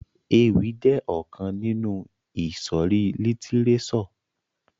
Ewì jẹ ọkan ninu ìsòrí lítírésò.